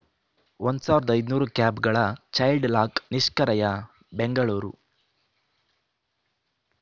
ಸಾವಿರದ ಐದುನೂರು ಕ್ಯಾಬ್‌ಗಳ ಚೈಲ್ಡ್‌ಲಾಕ್‌ ನಿಷ್ಕಿ್ರಯ ಬೆಂಗಳೂರು